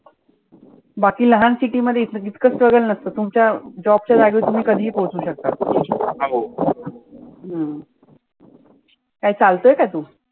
बाकी लहान city मध्ये इतक struggle नसतं. तुमच्या job च्या जागेवर तुम्ही कधि ही पोहचु शकता. हम्म काय चालतोय का तु?